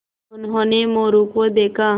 उन्होंने मोरू को देखा